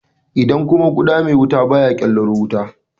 Idan kuma guda mai wuta baya ƙelaro wuta?